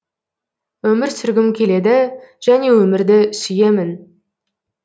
өмір сүргім келеді және өмірді сүйемін